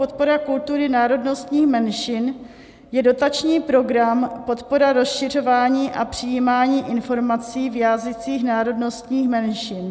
Podpora kultury národnostních menšin je dotační program Podpora rozšiřování a přijímání informací v jazycích národnostních menšin.